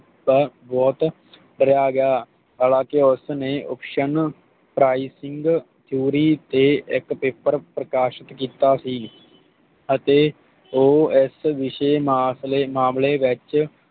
ਦਾ vote ਕਰਿਆ ਗਿਆ ਹਾਲਾਂਕਿ ਉਸ ਨੇ Option Prizing ਚੋਰੀ ਤੇ ਇਕ Paper ਪ੍ਰਕਾਸ਼ਿਤ ਕੀਤਾ ਸੀ ਅਤੇ ਉਹ ਇਸ ਵਿਸ਼ੇ ਨਾਲ ਮਾਸਲੇ ਮਾਮਲੇ ਵਿਚ